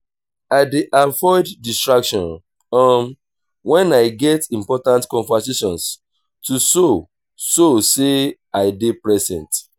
i dey avoid distractions um wen i get important conversations to show show sey i dey present.